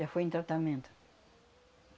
Já fui em tratamento.